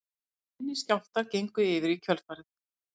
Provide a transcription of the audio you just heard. Minni skjálftar gengu yfir í kjölfarið